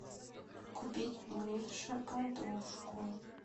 купить мише подушку